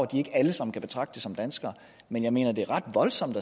de ikke alle sammen kan betragtes som danskere men jeg mener at det er ret voldsomt